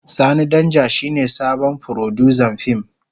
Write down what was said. Sani Danja shine sabon furodusan fim.